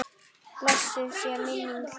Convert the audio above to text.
Blessuð sé minning þín!